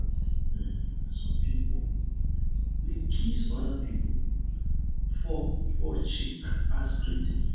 um some pipo um dey kiss oda pipo for for cheek as greeting